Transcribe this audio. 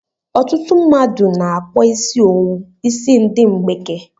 Ọtụtụ mmadụ n'akpọ isi owu isi ndi mgbeke